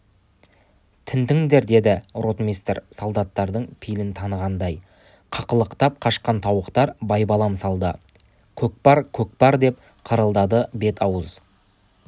тінтіңдер деді ротмистр солдаттардың пейілін танығандай қақылықтап қашқан тауықтар байбалам салды көкпар көкпар деп қырылдады бет-аузы